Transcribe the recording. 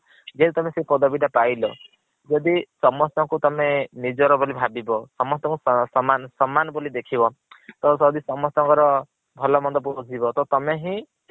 ଯେହେତୁ ତମେ ସେଇ ପଦବୀ ଟା ପାଇଲ ଯଦି ସମସ୍ତଙ୍କୁ ତମେ ନିଜର ବୋଲି ଭାବିବ ସମସ୍ତଙ୍କୁ ସମାନ ବୋଲି ଦେଖିବ ତ ତମେ ଯଦି ସମସ୍ତଙ୍କର ଭଲ ମନ୍ଦ ବୁଝିବ ତ ତମେ ହିଁ